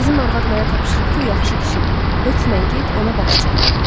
Bizim arvad mənə tapşırıb ki, yaxşı kişidir, hökmən get ona baş çək.